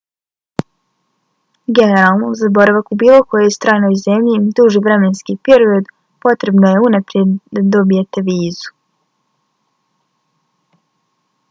generalno za boravak u bilo kojoj stranoj zemlji duži vremenski period potrebno je da unaprijed dobijete vizu